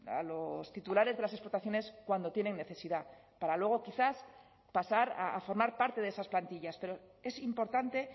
a los titulares de las explotaciones cuando tienen necesidad para luego quizás pasar a formar parte de esas plantillas pero es importante